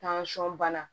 bana